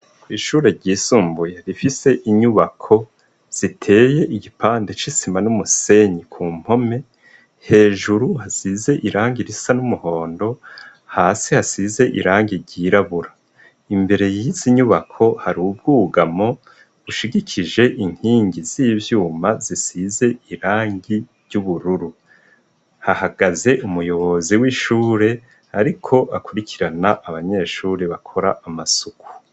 Ishure ryisumbuye rifise ziteye igipande cisima numusenyi kumpome hejuru hasize irangi risa numuhondo hasi hasize irangi ryirabura imbere yizinyubako Hari ubwugamo bushigikije inkingi z'ivyuma zisize irangi ry'ubururu hahagaze umuyobozi wishure ariko abanyeshure bakora amasuku.